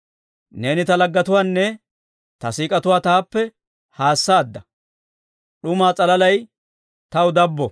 Neeni ta laggetuwaanne ta siik'otuwaa taappe haassaadda; d'umaa s'alalay taw dabbo.